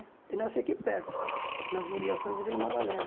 Eu nasci aqui perto, nas mediações de Vila Madalena.